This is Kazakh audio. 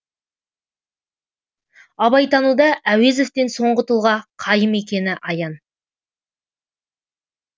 абайтануда әуезовтен соңғы тұлға қайым екені аян